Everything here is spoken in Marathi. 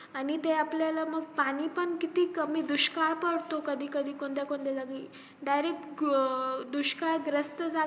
आणि ते आपल्याला ते पाणी पण किती कमी दुष्काळ पडतो कधी कधी कोणत्या कोणत्या जागी direct अं दुष्काळ ग्रस्त